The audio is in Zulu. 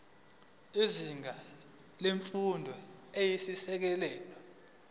izinga lemfundo eyisisekelo